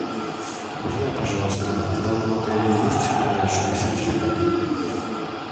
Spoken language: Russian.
узнай пожалуйста в данном отеле есть подарочные сертификаты